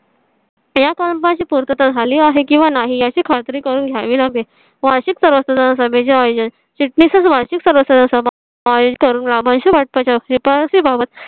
या कामाची पूर्तता झाली आहे किंवा नाही याची खात्री करून घ्यावी लागेल वार्षिक सभासद चिटणीस वार्षिक वाटपा च्या शिफारशीबाबत